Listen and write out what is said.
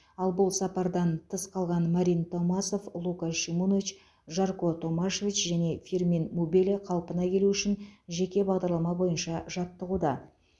ал бұл сапардан тыс қалған марин томасов лука шимунович жарко томашевич және фирмин мубеле қалпына келуі үшін жеке бағдарлама бойынша жаттығуда